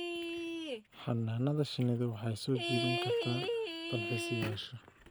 Xannaanada shinnidu waxay soo jiidan kartaa dalxiisayaasha.